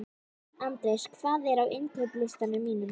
Andreas, hvað er á innkaupalistanum mínum?